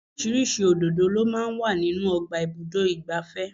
Oríṣiríṣi òdòdó lọ máa ń wà nínú ọgbà ibùdó igbàfẹ́.